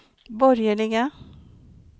borgerliga